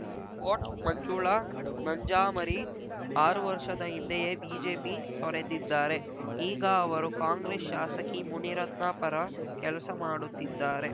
coat Manjula Nanjamari ಆರು ವರ್ಷದ ಹಿಂದೆಯೇ ಬಿಜೆಪಿ ತೊರೆದಿದ್ದಾರೆ ಈಗ ಅವರು ಕಾಂಗ್ರೆಸ್‌ ಶಾಸಕಿ ಮುನಿರತ್ನ ಪರ ಕೆಲಸ ಮಾಡುತ್ತಿದ್ದಾರೆ